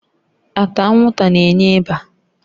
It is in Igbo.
Ata anwụnta na-enye ịba